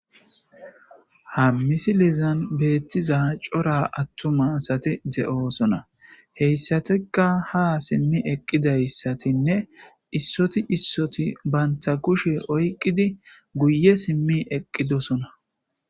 Ha misi lizan beettiza cora attumasati de'osona heyssateka ha simmi eqqidayssatinne issoti issoti banta kushe oyqidi guye simmi eqqidosona.